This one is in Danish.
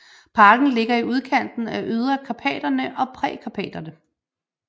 Parken ligger i udkanten af Ydre Karpaterne og Prekarpaterne